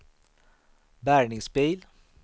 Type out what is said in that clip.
bärgningsbil